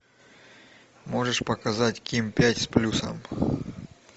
можешь показать ким пять с плюсом